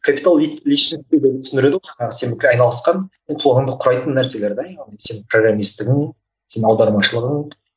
капитал личностиде түсіндіреді ғой жаңағы сен айналысқан ұмытылғанды құрайтын нәрселер де яғни сенің програмисттігің сенің аудармашылығың